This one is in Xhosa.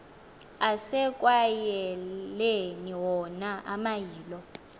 asekwayaleni wona amayilo